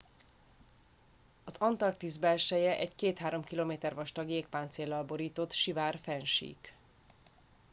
az antarktisz belseje egy 2-3 km vastag jégpáncéllal borított sivár fennsík